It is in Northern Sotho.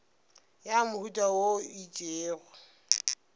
ya mohuta wo o itšego